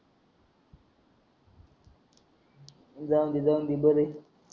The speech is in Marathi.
जाऊन दे जाऊन दे बरं